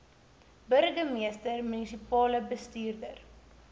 burgemeester munisipale bestuurder